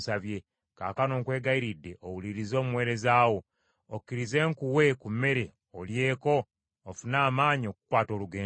Kaakano nkwegayiridde owulirize omuweereza wo, okkirize nkuwe ku mmere olyeko ofune amaanyi okukwata olugendo lwo.”